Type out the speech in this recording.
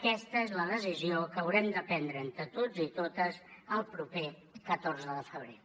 aquesta és la decisió que haurem de prendre entre tots i totes el proper catorze de febrer